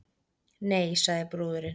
Nei, sagði brúðurin.